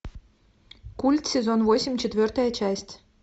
культ сезон восемь четвертая часть